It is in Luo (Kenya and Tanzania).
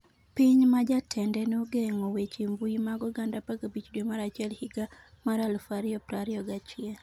Piny ma jatende nogeng'o weche mbui mag oganda 15 dwe mar achiel higa mar 2021